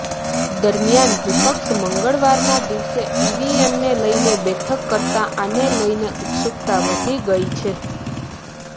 દરમિયાન વિપક્ષ મંગળવારના દિવસે ઇવીએમને લઇને બેઠક કરતા આને લઇને ઉત્સુકતા વધી ગઇ છે